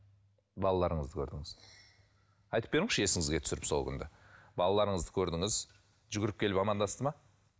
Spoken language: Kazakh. балаларыңызды көрдіңіз айтып беріңізші есіңізге түсіріп сол күнді балаларыңызды көрдіңіз жүгіріп келіп амандасты ма